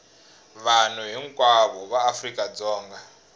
vanhu hinkwavo va afrika dzonga